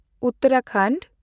Uttarakhand